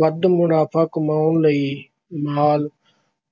ਵੱਧ ਮੁਨਾਫ਼ਾ ਕਮਾਉਣ ਲਈ ਮਾਲ